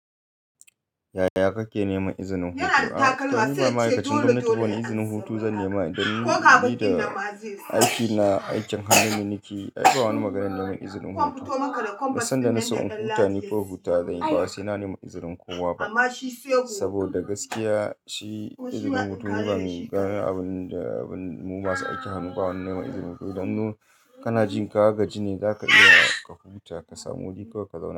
Yaya kake neman izinin hutu? To ni ba ma'aikacin gwamnati ba wani izinin hutu zan nema idan na, ni da aiki na aikin hannu ne nakeyi. Ai wani maganar neman izinin hutu. Duk sanda na so in huta, ni kawai hutawa zan yi. Ba wa sai na nemi izinin kowa ba. Saboda gaskiya shi izinin hutu ni ban mu gane abin da mu masu aikin hannu ba wani nema izinin hutu. Dan mu kana jin ka ga ji ne za ka iya ka huta ka samu wuri kawai ka zauna.